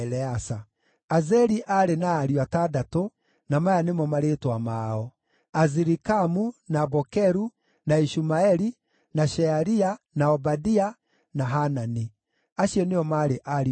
Azeli aarĩ na ariũ atandatũ, na maya nĩmo marĩĩtwa mao: Azirikamu, na Bokeru, na Ishumaeli, na Shearia, na Obadia, na Hanani. Acio nĩo maarĩ ariũ a Azeli.